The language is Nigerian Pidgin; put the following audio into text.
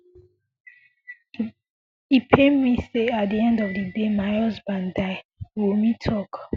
e pain me say at di end of di day my husband die wunmi tok